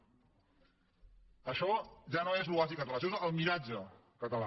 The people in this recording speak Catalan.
això ja no és l’oasi català això és el miratge català